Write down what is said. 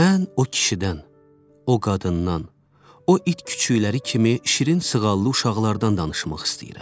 Mən o kişidən, o qadından, o it küçükləri kimi şirin sığallı uşaqlardan danışmaq istəyirəm.